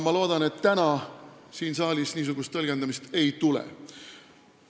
Ma loodan, et täna siin saalis niisugust tõlgendamist ei tule.